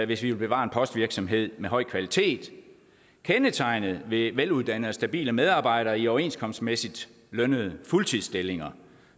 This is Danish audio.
hvis vi vil bevare en postvirksomhed med høj kvalitet kendetegnet ved veluddannede og stabile medarbejdere i overenskomstmæssigt lønnede fuldtidsstillinger